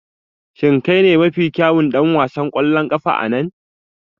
Shin kai ne mafi kyawun ɗan wasan ƙwallon ƙafa a nan?